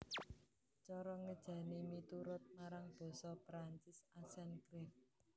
Cara ngéjané miturut marang basa Perancis accent grave